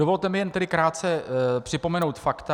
Dovolte mi jen tedy krátce připomenout fakta.